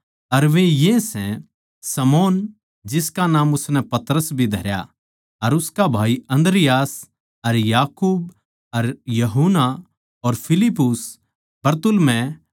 अर वे ये सै शमौन जिसका नाम उसनै पतरस भी धरया अर उसका भाई अन्द्रियास अर याकूब अर यूहन्ना अर फिलिप्पुस अर बरतुल्मै